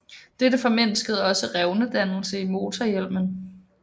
Dette formindskede også revnedannelse i motorhjelmen